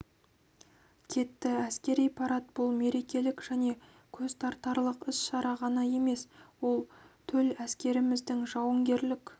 кетті әскери парад бұл мерекелік және көзтартарлық іс-шара ғана емес ол төл әскеріміздің жауынгерлік